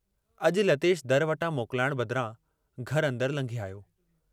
अजु लतेश दर वटां मोकलाइण बदिरां घर अंदर लंघे आयो।